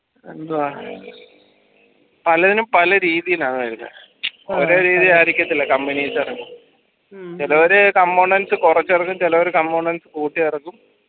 എന്തുവ പലതിനും പല രീതിലാണ് വരുന്നേ ഓരോ രീതിലായിരിക്കത്തില്ല company ഇതൊരു components കൊറച്ചിറക്കും ചിലോർ components കൂട്ടി ഇറക്കും